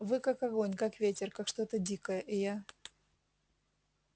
вы как огонь как ветер как что-то дикое и я